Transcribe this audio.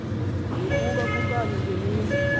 nokuba kukanye ngemini